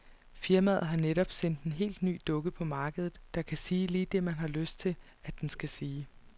Firmaet har netop sendt en helt ny dukke på markedet, der kan sige lige det man har lyst til, at den skal sige.